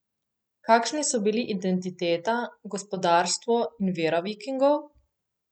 Kakšni so bili identiteta, gospodarstvo in vera Vikingov?